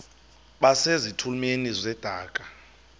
base zitulmeni zedaka